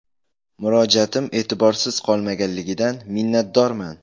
Murojaatim e’tiborsiz qolmaganligidan minnatdorman”.